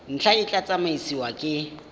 ntlha e tla tsamaisiwa ke